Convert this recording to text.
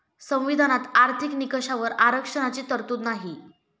संविधानात आर्थिक निकषावर आरक्षणाची तरतूद नाही.